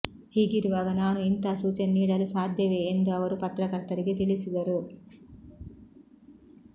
ಹೀಗಿರುವಾಗ ನಾನು ಇಂಥ ಸೂಚನೆ ನೀಡಲು ಸಾಧ್ಯವೇ ಎಂದು ಅವರು ಪತ್ರಕರ್ತರಿಗೆ ತಿಳಿಸಿದರು